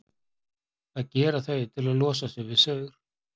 Það gera þau til að losa sig við saur.